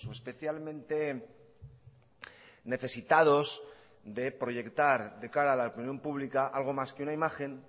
especialmente necesitados de proyectar de cara a la opinión pública algo más que una imagen